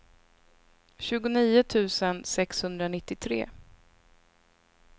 tjugonio tusen sexhundranittiotre